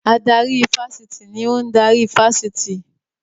Adarí ifásitì ni ò ń darí ifásitì